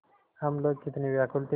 हम लोग कितने व्याकुल थे